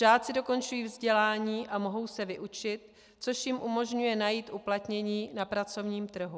Žáci dokončují vzdělání a mohou se vyučit, což jim umožňuje najít uplatnění na pracovním trhu.